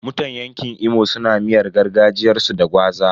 Mutan yanƙin Imo suna miyar gargajiyarsu da gwaza.